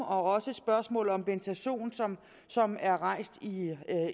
og spørgsmålet om bentazon som er rejst